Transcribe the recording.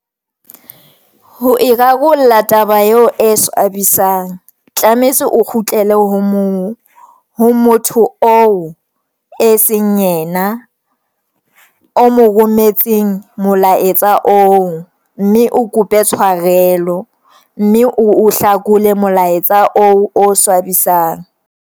Ho e rarolla taba eo e swabisang. Tlametse o kgutlele ho mo motho o e seng yena o mo rometseng molaetsa oo, mme o kope tshwarelo, mme o hlakole molaetsa o swabisang.